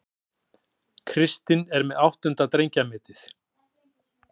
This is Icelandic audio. Kristinn með áttunda drengjametið